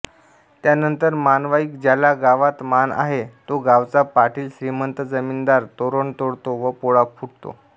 त्यानंतर मानवाईक ज्याला गावात मान आहे तोगावचा पाटीलश्रीमंत जमीनदार तोरण तोडतो व पोळा फुटतो